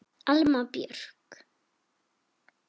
Alma Björk.